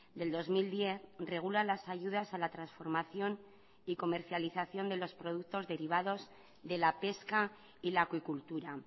del dos mil diez regula las ayudas a la transformación y comercialización de los productos derivados de la pesca y la acuicultura